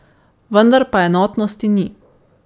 Vendar pa enotnosti ni.